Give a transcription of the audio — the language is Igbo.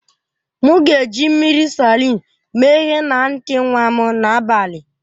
M ga-eji mmiri Salịn mee ihe na ntị nwa m n'abalị